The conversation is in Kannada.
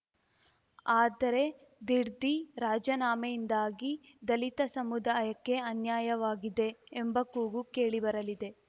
ಆದರೆ ದಿಡ್ದೀ ರಾಜೀನಾಮೆಯಿಂದಾಗಿ ದಲಿತ ಸಮುದಾಯಕ್ಕೆ ಅನ್ಯಾಯವಾಗಿದೆ ಎಂಬ ಕೂಗು ಕೇಳಿಬರಲಿದೆ